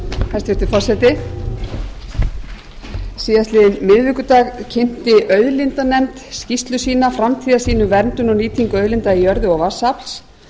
hæstvirtur forseti síðastliðinn miðvikudag kynnti auðlindanefnd skýrslu sína framtíðarsýn um verndun og nýtingu auðlinda í jörðu og vatnsafl en